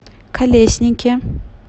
колеснике